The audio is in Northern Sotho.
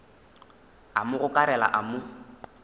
a mo gokarela a mo